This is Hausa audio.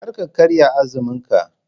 Kar ka karya azumin ka.